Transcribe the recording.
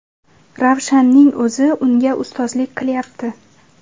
Ravshanning o‘zi unga ustozlik qilyapti.